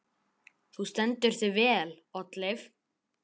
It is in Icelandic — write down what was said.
Þú stendur þig vel, Oddleif!